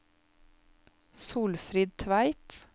Solfrid Tveit